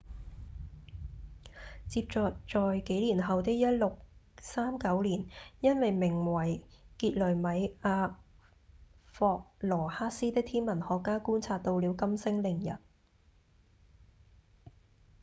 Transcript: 接著在幾年後的1639年一名名為傑雷米亞·霍羅克斯的天文學家觀察到了金星凌日